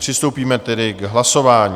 Přistoupíme tedy k hlasování.